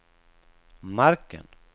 marken